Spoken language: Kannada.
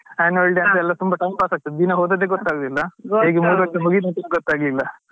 College ಅಲ್ಲಿ ಎಲ್ಲ Sports day Annual day ಅದೆಲ್ಲ ತುಂಬಾ time pass ಆಗ್ತದೆ ದಿನ ಹೋದದ್ದೇ ಗೊತ್ತಾಗುದಿಲ್ಲ ಹೇಗೆ ಮೂರ್ ವರ್ಷ ಮುಗಿತ್ ಅಂತಾನೆ ಗೊತ್ತಾಗ್ಲಿಲ್ಲ.